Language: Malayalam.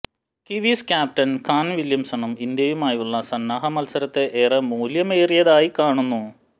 കിവീസ് ക്യാപ്റ്റന് കാന് വില്യംസനും ഇന്ത്യയുമായുള്ള സന്നാഹ മത്സരത്തെ ഏറെ മൂല്യമേറിയതായി കാണുന്നു